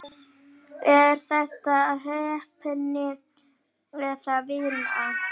Er þetta heppni eða vinna?